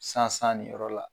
Sansan nin yɔrɔ la